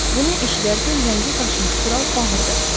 Bunu eşidərkən rəngi qaçmış kral bağırdı.